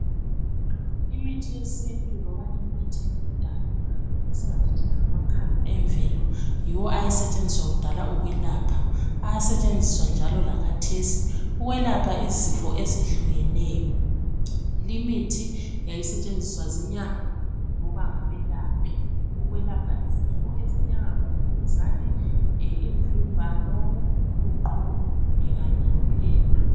Imithi yesintu loba imithi yakudala, esingathi thina ngamakhamba emvelo, yiwo ayesetshenziswa kudala ukwelapha. Ayasetshenziswa njalo lakhathesi ukwelapha izifo ezehlukeneyo. Limithi yayisetshenziswa zinyanga loba ngabelaphi ukwelapha izifo ezinjengabomvukuzane, imvimbano, uqhuqho kanye lophepha.